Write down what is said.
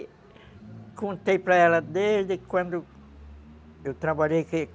E contei para ela desde quando eu trabalhei aqui.